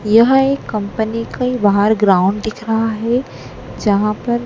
यह एक कम्पनी के बाहर ग्राउंड दिख रहा है जहां पर--